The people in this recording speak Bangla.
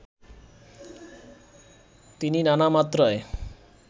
তিনি নানা মাত্রায়